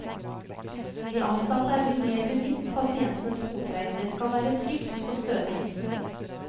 De ansatte er blitt mer bevisst pasientenes fottøy, det skal være trygt og stødig.